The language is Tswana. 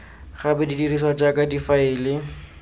gape di dirisiwa jaaka difaele